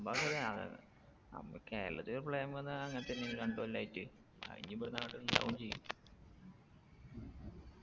സംഭവം ശരിയാണ് നമ്മ കേരളത്തിലൊരു പ്രളയം വന്നാ അങ്ങൻ തന്നെയാണ് രണ്ട് കൊല്ലായിട്ട് അതിനി ഇബട്ന്ന് അങ്ങോട്ട് ഇണ്ടാവും ചെയ്യും